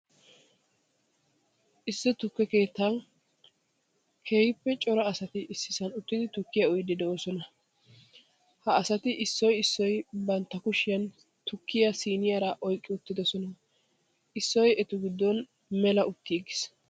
Issi tukke keettan keehippe cora asati issisan uttidi tukkiyaa uyiiddi de'oosona. Ha asati issoy issoy bantta kushiyan tukkiyaa siiniyaara oyqqi uttidosona. Issoy etu giddon mela uttiiggis.